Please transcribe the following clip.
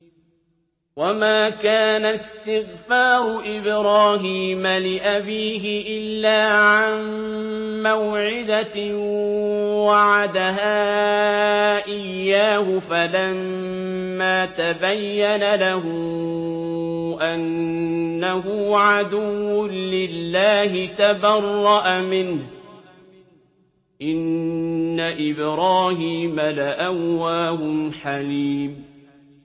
وَمَا كَانَ اسْتِغْفَارُ إِبْرَاهِيمَ لِأَبِيهِ إِلَّا عَن مَّوْعِدَةٍ وَعَدَهَا إِيَّاهُ فَلَمَّا تَبَيَّنَ لَهُ أَنَّهُ عَدُوٌّ لِّلَّهِ تَبَرَّأَ مِنْهُ ۚ إِنَّ إِبْرَاهِيمَ لَأَوَّاهٌ حَلِيمٌ